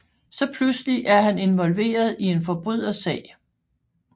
Så pluselig er han indvolveret i en forbrydersag